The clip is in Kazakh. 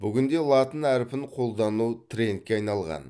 бүгінде латын әрпін қолдану трендке айналған